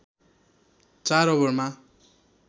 ४ ओभरमा